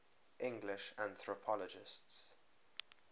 english anthropologists